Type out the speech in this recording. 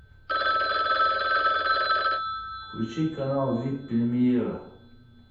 включи канал вип премьера